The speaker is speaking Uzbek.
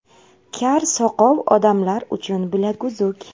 Kar-soqov odamlar uchun bilaguzuk.